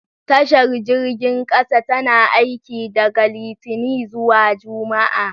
Tashar jirgin kasa tana aiki daga Litinin zuwa Juma'a